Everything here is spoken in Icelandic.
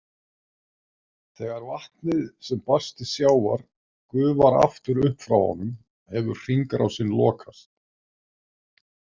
Þegar vatnið sem barst til sjávar gufar aftur upp frá honum hefur hringrásin lokast.